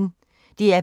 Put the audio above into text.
DR P1